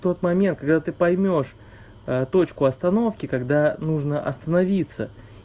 тот момент когда ты поймёшь точку остановки когда нужно остановиться